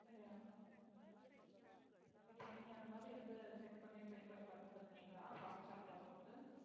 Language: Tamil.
இப்போ நீங்க அந்த மாதிரி வந்து check பண்ணி try பண்ணி பார்த்து இருக்கீங்களா fast tag ல போட்டு